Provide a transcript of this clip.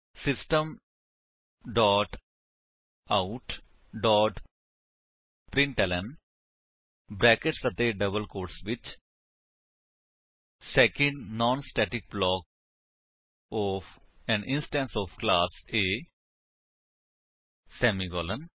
system dot out dot println brackets ਅਤੇ double quotes ਵਿੱਚ second non static block of an instance of class A semicolon